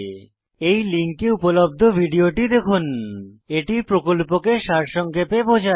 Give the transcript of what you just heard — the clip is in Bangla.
এই লিঙ্কে উপলব্ধ ভিডিওটি দেখুন httpspoken tutorialorgWhat is a Spoken Tutorial এটি প্রকল্পকে সারসংক্ষেপে বোঝায়